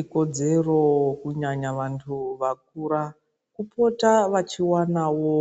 Ikodzero kunyanya vantu vakura, kupota vachiwanawo